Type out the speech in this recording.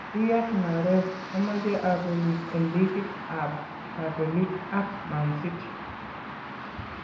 Riyad Mahrez :Amache abelis en ligit ab kabelik ak Mancity